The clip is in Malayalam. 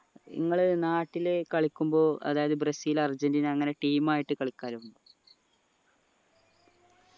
നിങ്ങളെ നാട്ടിലെ കളിക്കുമ്പോൾ അതായത് ബ്രസീൽ അർജൻറീന അങ്ങനെ team ആയിട്ട് കളിക്കാറുണ്ടോ